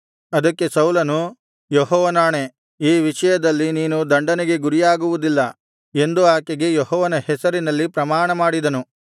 ಅದಕ್ಕೆ ಸೌಲನು ಯೆಹೋವನಾಣೆ ಈ ವಿಷಯದಲ್ಲಿ ನೀನು ದಂಡನೆಗೆ ಗುರಿಯಾಗುವುದಿಲ್ಲ ಎಂದು ಆಕೆಗೆ ಯೆಹೋವನ ಹೆಸರಿನಲ್ಲಿ ಪ್ರಮಾಣಮಾಡಿದನು